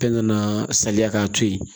Fɛn kana saliya k'a to yen